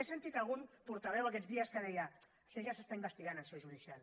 he sentit algun portaveu aquests dies que deia això ja s’està investigant en seu judicial